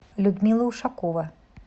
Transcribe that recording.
людмила ушакова